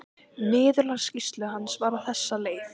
Niðurlag skýrslu hans var á þessa leið